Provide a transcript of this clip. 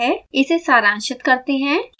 इसे सारांशित करते हैं